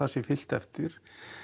sé fylgt eftir